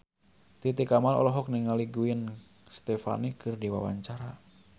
Titi Kamal olohok ningali Gwen Stefani keur diwawancara